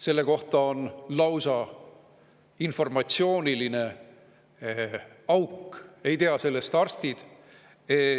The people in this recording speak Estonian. Selle kohta on lausa informatsiooniline auk, ei tea sellest arstid,